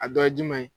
A dɔ ye jumɛn ye